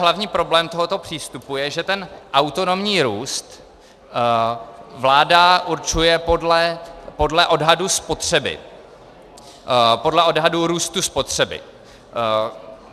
Hlavní problém tohoto přístupu je, že ten autonomní růst vláda určuje podle odhadu spotřeby, podle odhadu růstu spotřeby.